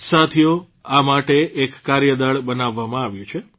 સાથીઓ આ માટે એક કાર્યદળ બનાવવામાં આવ્યું છે